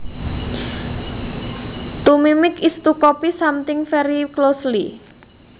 To mimic is to copy something very closely